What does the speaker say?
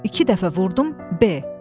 İki dəfə vurdum B.